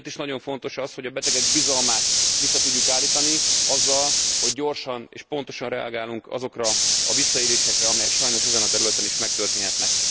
Ezért is nagyon fontos, hogy a betegek bizalmát vissza tudjuk állítani azáltal, hogy gyorsan és pontosan reagálunk azokra a visszaélésekre, amelyek sajnos ezen a területen is megtörténhetnek.